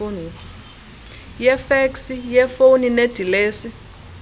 yefeksi yefoni nedilesi